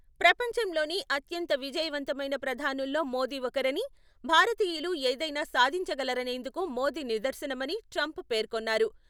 ప్రపంచంలోనే అత్యంత విజయవంతమైన ప్రధానుల్లో మోదీ ఒకరని, భారతీయులు ఏదైనా సాధించగలరనేందుకు మోదీ నిదర్శనమని ట్రంప్ పేర్కొన్నారు.